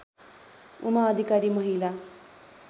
उमा अधिकारी महिला